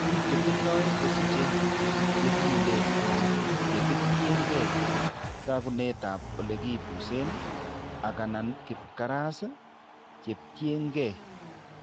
Biik chetindo kosiche chekile anan cheketinkeey taakunetap ole kipusen, ak/anan kibkaras cheketyinkeey.